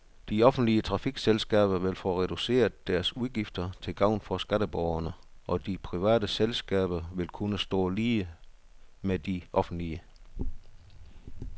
De offentlige trafikselskaber vil få reduceret deres udgifter til gavn for skatteborgerne, og de private selskaber vil kunne stå lige med de offentlige.